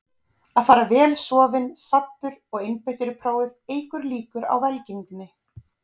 Að fara vel sofinn, saddur og einbeittur í prófið eykur líkur á velgengni.